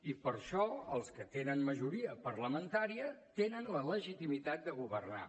i per això els que tenen majoria parlamentària tenen la legitimitat de governar